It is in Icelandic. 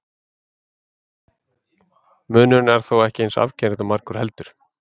Munurinn er þó ekki eins afgerandi og margur heldur.